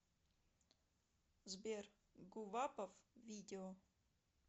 сбер гувапов видео